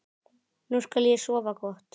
Nú skal ég sofa gott.